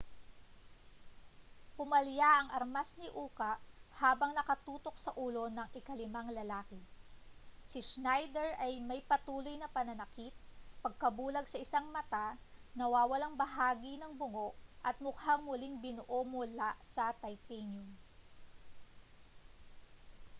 pumalya ang armas ni uka habang nakatutok sa ulo ng ikalimang lalaki si schneider ay may patuloy na pananakit pagkabulag sa isang mata nawawalang bahagi ng bungo at mukhang muling binuo mula sa titanium